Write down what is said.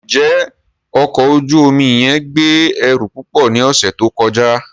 Njẹ ọkọ oju omi yẹn gbe ẹru pupọ ni ọsẹ to kọja?